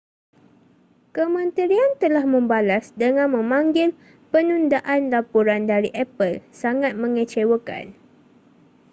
kementerian telah membalas dengan memanggil penundaan laporan dari apple sangat mengecewakan